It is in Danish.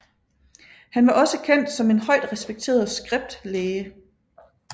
Han var også kendt som en højt respekteret script læge